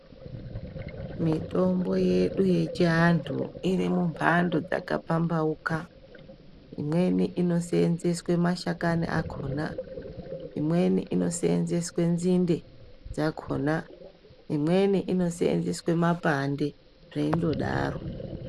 Mitombo yedu yechiantu iri mumhando dzakapamhauka. Imweni inoshandiswa mashakani akhona. Imweni inoseenzeswa nzinde dzakhona. Imweni inoseenzeswe mapande zveindodaro.